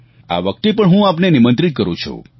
આ વખતે પણ હું આપને નિમંત્રિત કરું છું